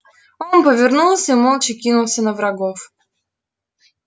он повернулся и молча кинулся на врагов